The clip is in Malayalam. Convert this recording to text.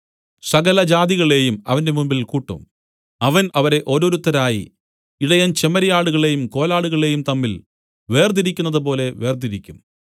സകല ജാതികളേയും അവന്റെ മുമ്പിൽ കൂട്ടും അവൻ അവരെ ഓരോരുത്തരായി ഇടയൻ ചെമ്മരിയാടുകളെയും കോലാടുകളെയും തമ്മിൽ വേർതിരിക്കുന്നതുപോലെ വേർതിരിക്കും